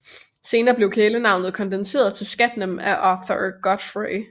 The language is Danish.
Senere blev kælenavnet kondenseret til Scatman af Arthur Godfrey